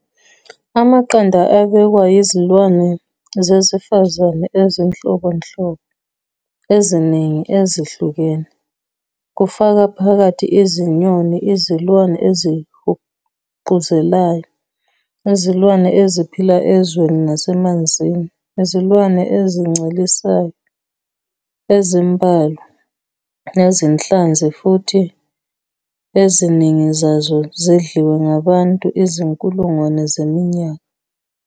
Amaqanda abekwa yizilwane zesifazane ezinhlobonhlobo eziningi ezihlukene, kufaka phakathi izinyoni, izilwane ezihuquzelayo, izilwane eziphila ezweni nasemanzini, izilwane ezincelisayo ezimbalwa, nezinhlanzi, futhi eziningi zazo zidliwe ngabantu izinkulungwane zeminyaka.